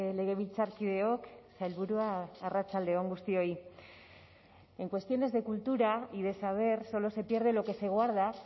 legebiltzarkideok sailburua arratsalde on guztioi en cuestiones de cultura y de saber solo se pierde lo que se guarda